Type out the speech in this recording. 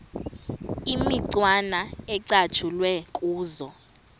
imicwana ecatshulwe kuzo